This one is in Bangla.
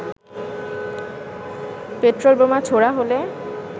পেট্রোল বোমা ছোঁড়া হলে